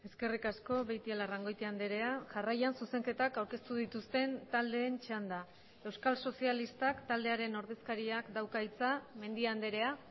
eskerrik asko beitialarrangoitia andrea jarraian zuzenketak aurkeztu dituzten taldeen txanda euskal sozialistak taldearen ordezkariak dauka hitza mendia andrea